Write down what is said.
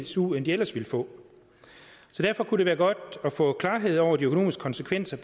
su end de ellers ville få derfor kunne det være godt at få klarhed over de økonomiske konsekvenser